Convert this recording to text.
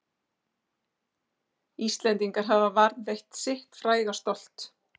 Íslendingar hafa varðveitt sitt fræga stolt